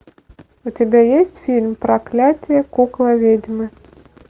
у тебя есть фильм проклятие кукла ведьмы